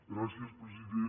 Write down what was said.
gràcies president